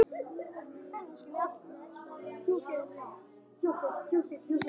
Þannig standa málin í dag.